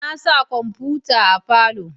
Na sa kwamfuta a falo